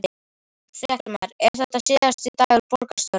Fréttamaður: Er þetta síðasti dagur borgarstjóra?